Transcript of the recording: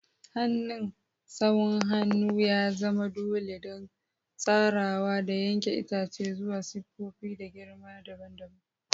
Hannun sawun hannu ya zama dole don tsarawa da yanke itace zuwa siffofi da girma dabam dabam.